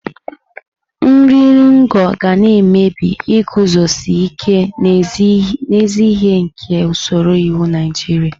Nri iri ngo ga na-emebi iguzosi ike n'ezi ihe nke usoro iwu Naijiria.